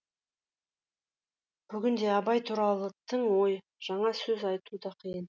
бүгінде абай туралы тың ой жаңа сөз айту да қиын